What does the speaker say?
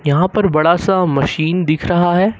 यहां पर बड़ा सा मशीन दिख रहा है।